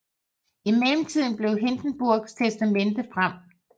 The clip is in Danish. I mellemtiden kom Hindenburgs testamente frem